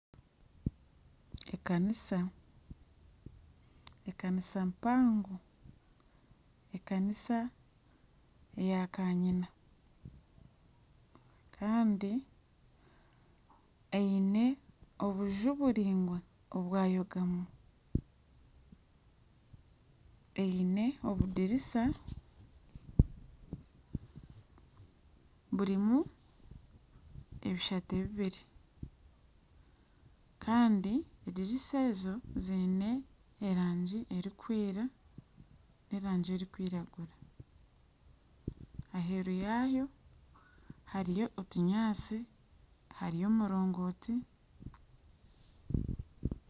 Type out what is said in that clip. Ekaniisa ekaniisa yakayina kandi eine obunju buraingwa obwayogamu eine obudiriisa burimu ebishate bibiri kandi ediriisa ezo ziine erangi erikwera n'erangi erikwiragura aheeru yaayo hariyo otunyaatsi hariyo omuringonti